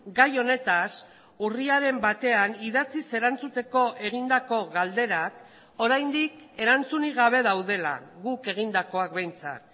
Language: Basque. gai honetaz urriaren batean idatziz erantzuteko egindako galderak oraindik erantzunik gabe daudela guk egindakoak behintzat